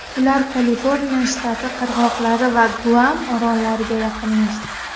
Ular Kaliforniya shtati qirg‘oqlari va Guam orollariga yaqinlashdi.